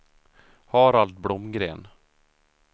Harald Blomgren